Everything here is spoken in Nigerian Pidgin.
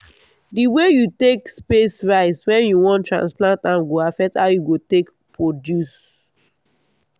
the way you take space rice when you wan transplant am go affect how e go take produce